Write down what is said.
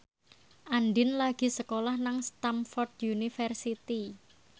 Andien lagi sekolah nang Stamford University